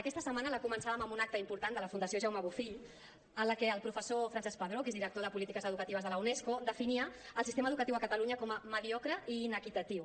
aquesta setmana la començàvem amb un acte important de la fundació jaume bofill en la que el professor francesc pedró que és director de polítiques educatives de la unesco definia el sistema educatiu a catalunya com a mediocre i inequitatiu